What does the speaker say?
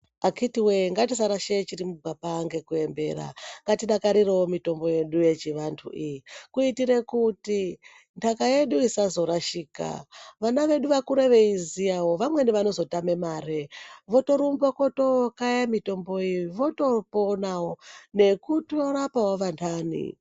Akhiti wee ngatisarashe chiri mugwapa ngekuembera ngatidakarirewo mutombo yedu yechiantu iyi kuitire kuti ntaka yedu isazorashika vana vedu vakure veiziya vamweni vanokone kuzotame mare votorumba kotokaye mutomboyo votopona nekutorapawo vantani.